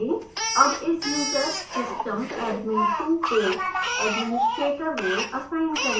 अब इस user system admin2को administrator role असाइन करें